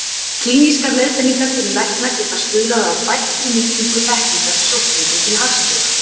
Klínískar leiðbeiningar fyrir lækna geta stuðlað að bættri nýtingu þekkingar sjúklingum til hagsbóta.